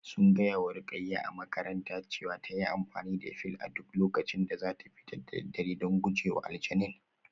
Sun gaya wa Ruqayyah a makarantarta cewa ta yi amfani da fil a duk lokacin da za ta fita da daddare don guje wa aljanin